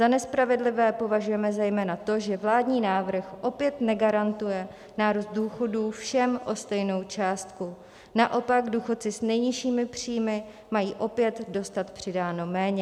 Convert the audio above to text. Za nespravedlivé považujeme zejména to, že vládní návrh opět negarantuje nárůst důchodů všem o stejnou částku, naopak důchodci s nejnižšími příjmy mají opět dostat přidáno méně.